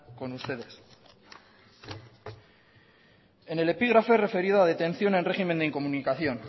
con ustedes en el epígrafe referido a detención en régimen de incomunicación